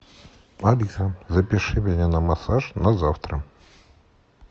алиса запиши меня на массаж на завтра